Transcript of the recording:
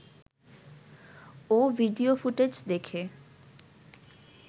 ও video footage দেখে